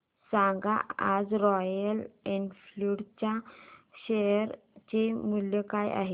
सांगा आज Royal Enfield च्या शेअर चे मूल्य काय आहे